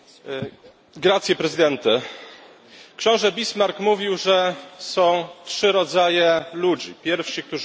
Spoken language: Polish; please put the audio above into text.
Książę Bismarck mówił, że są trzy rodzaje ludzi pierwsi, którzy uczą się z doświadczeń historii